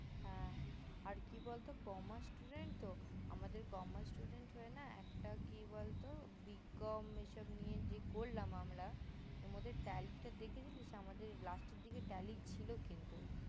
হ্যা আর কি বলতো commerce student তো আমাদের commerce student হয়ে না একটা কি বলতো bcom এইসব নিয়ে যে করলাম আমরা এর মধ্যে tally টা দেখেছিলি আমাদের last এর দিকে tally ছিল কিন্তু